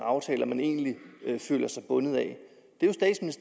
aftaler man egentlig føler sig bundet af